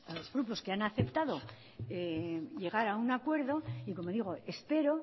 los grupos que han aceptado llegar a un acuerdo y como digo espero